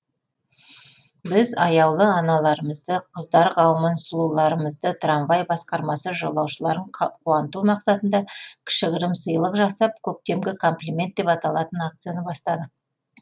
біз аяулы аналарымызды қыздар қауымын сұлуларымызды трамвай басқармасы жолаушыларын қуанту мақсатында кішігірім сыйлық жасап көктемгі комплимент деп аталатын акцияны бастадық